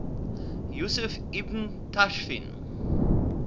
yusuf ibn tashfin